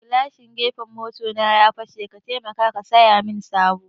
Gilashin gefen mota na ya fashe, ka taimaka ka siyamin sabo